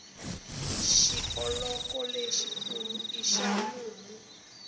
xioloko lexi kulu i xa mumu